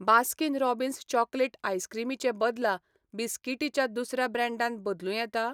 Baskin Robbins chocolate आयसक्रीमी चे बदला बिस्कीटी च्या दुसऱ्या ब्रँडान बदलूं येता?